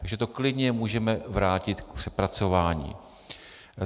Takže to klidně můžeme vrátit k přepracování.